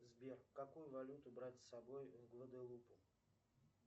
сбер какую валюту брать с собой в гваделупу